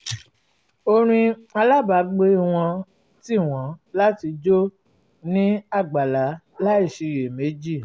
orin alábàágbé wọn tì wọn láti jó ní àgbàlá láìsiyèméjì